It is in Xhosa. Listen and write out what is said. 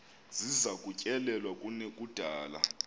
ziza kutyelelwa kunekudala